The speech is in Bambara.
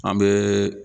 An bɛ